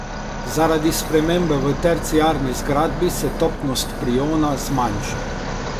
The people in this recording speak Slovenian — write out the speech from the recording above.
Zaradi spremembe v terciarni zgradbi se topnost priona zmanjša.